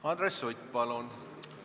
Andres Sutt, palun!